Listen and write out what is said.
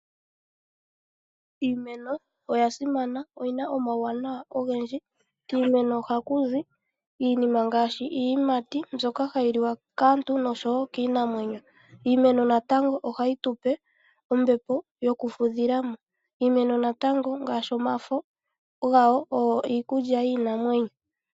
Iimeno oya simana, iimeno lyina omauwanawa ogendji. Kiimeno ohaku zi iinima ngaashi iiyimati mbyoka hayi liwa kaantu no kiinamwenyo. Iimeno natango ohayi tupe ombepo yokufudhila mo. Iimeno natango ohayi zi omafano ngoka haga liwa kiinamwenyo.